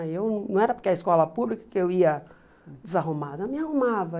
Eu, não era porque é escola pública que eu ia desarrumada, eu me arrumava.